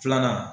Filanan